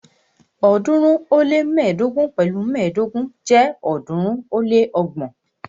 ọ̀ọ́dúnrún ó lé mẹ́ẹ̀ẹ́dógún pẹ̀lu mẹ́ẹ̀ẹ́dógún jẹ́ ọ̀ọ́dúnrún ó lé ọgbọ̀n.